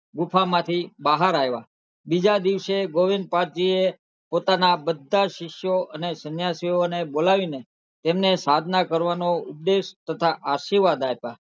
ગુફા માં થી બહાર આવ્યા બીજા દિવસે ગોવિંદ પાદ જી એ પોતાના બધાજ શિષ્યો અને સન્યાસીઓ ને બોલાવી ને તેમને સાધના કરવાનો ઉપદેશ તથા આશીર્વાદ આપ્યા